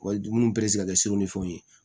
Wa dumuni ka kɛ sugu ni fɛnw ye